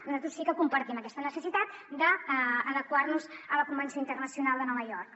nosaltres sí que compartim aquesta necessitat d’adequar nos a la convenció internacional de nova york